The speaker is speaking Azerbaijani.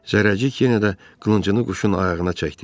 Zərrəcik yenə də qılıncını quşun ayağına çəkdi.